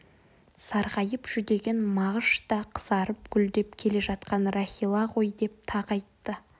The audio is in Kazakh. сарғайып жүдеген мағыш та қызарып гүлдеп келе жатқан рахила ғой деп тағы айтты